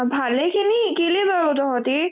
ভালে খিনি শিকিলি বাৰো তহতি